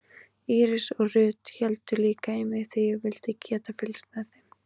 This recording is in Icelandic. Íris og Ruth héldu líka í mig því ég vildi geta fylgst með þeim.